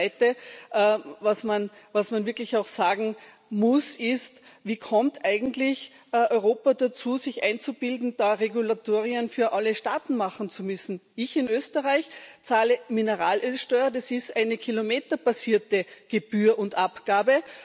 Das Zweite, was man wirklich auch sagen muss, ist Wie kommt eigentlich Europa dazu, sich einzubilden, da Regulatorien für alle Staaten machen zu müssen? Ich in Österreich zahle Mineralölsteuer, das ist eine kilometerbasierte Gebühr und Abgabe.